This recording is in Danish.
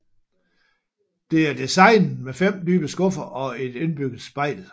Det er designet med 5 dybe skuffe og et indbygget spejl